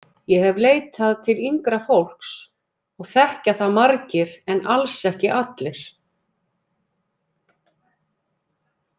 Ég hef leitað til yngra fólks og þekkja það margir en alls ekki allir.